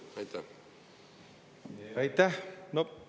Aitäh!